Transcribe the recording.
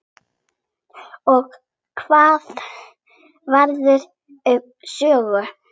Og hvað verður um Sögu?